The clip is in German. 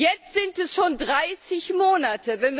Jetzt sind es schon 30 Monate.